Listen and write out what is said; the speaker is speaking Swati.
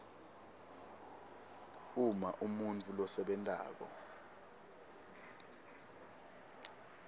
uma umuntfu losebentako